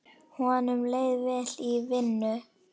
Honum leið vel í vinnu.